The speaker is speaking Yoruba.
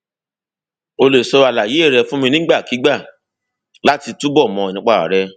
o lè sọ àlàyé rẹ fún mi nígbàkigbà láti túbọ mọ nípa rẹ